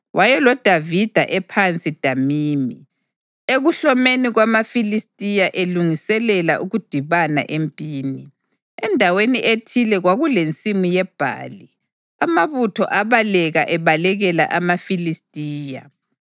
WayeloDavida ePhasi Damimi, ekuhlomeni kwamaFilistiya elungiselela ukudibana empini. Endaweni ethile kwakulensimu yebhali, amabutho abaleka ebalekela amaFilistiya.